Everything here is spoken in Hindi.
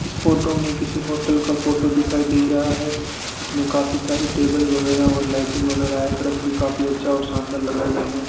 इस फोटो में किसी होटल का फोटो दिखाई दे रहा है इसमें काफी सारे टेबल वगैरा और लाइटिंग वगैरा है और फ्रेश भी अच्छा और शानदार लगाए गए हैं